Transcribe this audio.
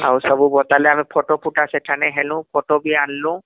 ଆଉ ସବୁ ବାତାଳେ ଆମେ ଫଟ ଫୁଟା ସେଠାନେ ହେଲୁ , ଫୋଟୋ ବି ଆଣିଲୁ